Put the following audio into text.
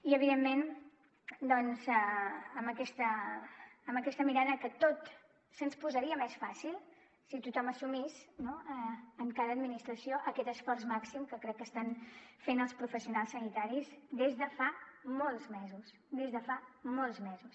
i evidentment doncs amb aquesta mirada que tot se’ns posaria més fàcil si tothom assumís en cada administració aquest esforç màxim que crec que estan fent els professionals sanitaris des de fa molts mesos des de fa molts mesos